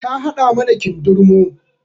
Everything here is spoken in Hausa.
Ta haɗa mana kindirmo